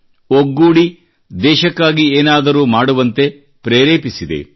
ಒಗ್ಗೂಡಿ ದೇಶಕ್ಕಾಗಿ ಏನಾದರೂ ಮಾಡುವಂತೆ ಪ್ರೇರೆಪಿಸಿದೆ